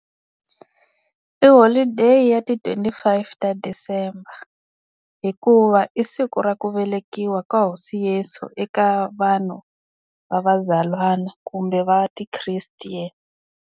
I holiday ya ti twenty five ta December hikuva i siku ra ku velekiwa ka hosi Yesu eka vanhu va vazalwana kumbe va ti-Christian.